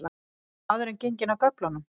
Er maðurinn genginn af göflunum?